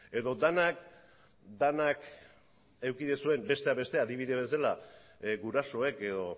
edo denak denak eduki duzuen besteak beste adibide bezala gurasoek edo